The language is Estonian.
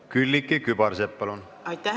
Külliki Kübarsepp, palun!